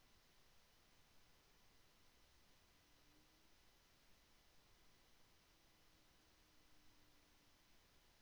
கிறிஸ்தவ ஜனநாயகவாதிகள் மற்றும் கிறிதவ ஒன்றியத்துடன் அதிகாரத்தை பகிர்ந்து கொண்டிருந்த தொழிற்